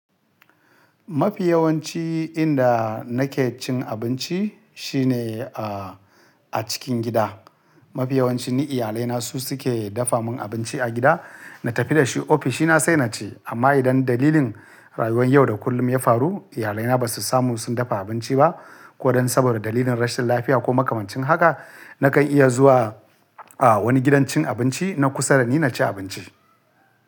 Mafi yawanci inda na ke cin abinci shine, ah, a cikin gida. Mafi yawanci ni iyalai na su suke dafa mun abinci a gida. Na tafi da shi ofishina sai na ci. Amma idan dalilin rayuwar yau da kullum ya faru, iyalai na ba su samu sun dafa abinci ba ko dan saboda dalilin rashin lafiya ko makamancin haka, na kan iya zuwa, ah, wani gidan cin abinci na kusa da ni na ci abinci.